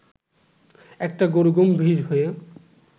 একটা গরু গম্ভীর হয়ে